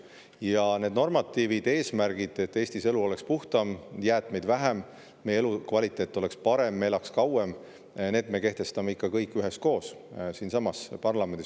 Ja need normatiivid, eesmärgid, et Eestis elu oleks puhtam, jäätmeid vähem, meie elukvaliteet oleks parem, me elaks kauem, me kehtestame ikka kõik üheskoos siinsamas parlamendis.